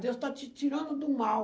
Deus está te tirando do mal.